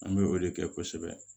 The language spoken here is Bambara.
An bɛ o de kɛ kosɛbɛ